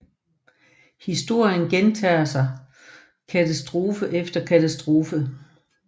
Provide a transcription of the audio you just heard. Historien gentager sig katastrofe efter katastrofe